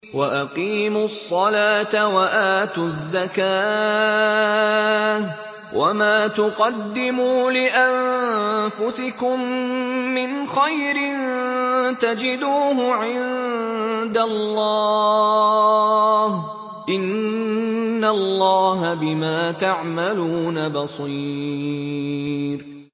وَأَقِيمُوا الصَّلَاةَ وَآتُوا الزَّكَاةَ ۚ وَمَا تُقَدِّمُوا لِأَنفُسِكُم مِّنْ خَيْرٍ تَجِدُوهُ عِندَ اللَّهِ ۗ إِنَّ اللَّهَ بِمَا تَعْمَلُونَ بَصِيرٌ